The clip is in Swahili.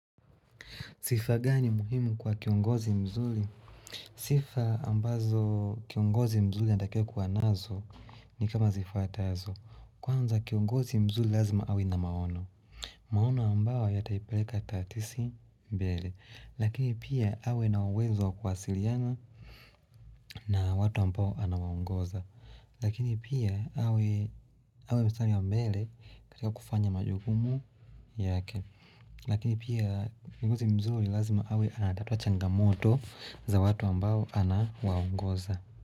Sifa gani muhimu kwa kiongozi mzuri? Sifa ambazo kiongozi mzuri anatakiwa kuwa nazo ni kama zifwatazo. Kwanza kiongozi mzuri lazima awe na maono. Maono ambayo yataipeleka tatisi mbele. Lakini pia awe na uwezo kuwasiliana na watu ambao anawaongoza. Lakini pia awe mstari wa mbele katika kufanya majukumu yake. Lakini pia kiongozi mzuri lazima awe anatatua changamoto za watu ambao ana waongoza.